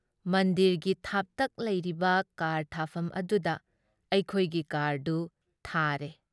ꯃꯟꯗꯤꯔꯒꯤ ꯊꯥꯞꯇꯛ ꯂꯩꯔꯤꯕ ꯀꯥꯔ ꯊꯥꯐꯝ ꯑꯗꯨꯗ ꯑꯩꯈꯣꯏꯒꯤ ꯀꯥꯔꯗꯨ ꯊꯥꯔꯦ ꯫